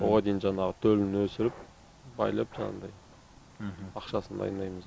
оған дейін жаңағы төлін өсіріп байлап жаңағыдай ақшасын дайындаймыз